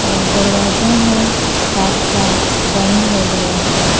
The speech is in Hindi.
और दरवाजा है कांट का बंद है दरवाजा।